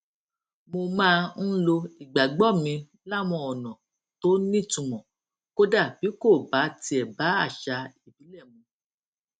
mo máa ń lo ìgbàgbó mi láwọn ònà tó nítumò kódà bí kò bá tiè bá àṣà ìbílè mu